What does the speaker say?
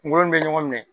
Kungolo in bɛ ɲɔgɔn minɛ